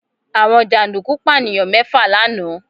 Àwọn jàǹdùkú Pànìyàn mẹ́fà lánàá